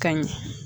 Ka ɲɛ